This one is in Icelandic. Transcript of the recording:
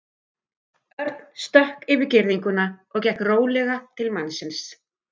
Örn stökk yfir girðinguna og gekk rólega til mannsins.